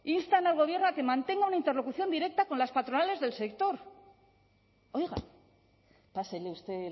instan al gobierno a que mantenga una interlocución directa con las patronales del sector oiga pásele usted